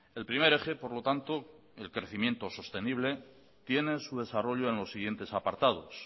el primer eje por lo tanto el crecimiento sostenible tiene su desarrollo en los siguientes apartados